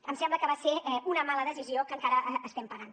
em sembla que va ser una mala decisió que encara estem pagant